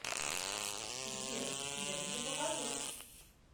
сбер я тебе покажу